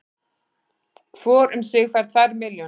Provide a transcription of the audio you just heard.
Hvor um sig fær tvær milljónir